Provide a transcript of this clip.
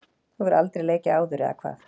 Þú hefur aldrei leikið áður eða hvað?